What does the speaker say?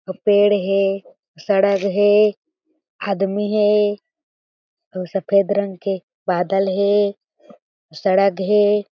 पेड़ हें सड़क हें आदमी हें अऊ सफ़ेद रंग के बादल हें सड़क हें।